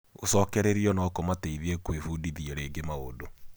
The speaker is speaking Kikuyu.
Gũcokererio no kũmateithie gwĩbudithia rĩngĩ maundũ.